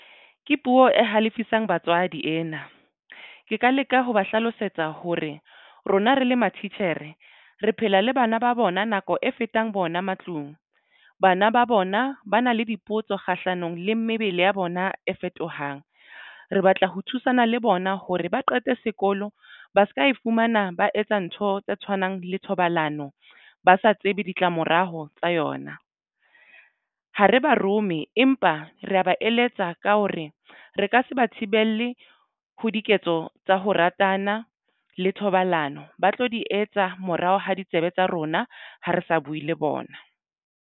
Ke puo e halifisang batswadi ena ke ka leka ho ba hlalosetsa hore rona re le mathitjhere re phela le bana ba bona nako e fetang bona matlung. Bana ba bona ba na le dipotso kgahlanong le mebele ya bona e fetohang. Re batla ho thusana le bona hore ba qete sekolo ba se ka e fumana ba etsa ntho tse tshwanang le thobalano ba sa tsebe ditlamorao tsa yona ha re ba rome empa ba re ba eletsa ka hore re ka se ba thibele ho diketso tsa ho ratana le thobalano. Ba tlo di etsa morao ha di tsebe tsa rona ha re sa buwe le bona.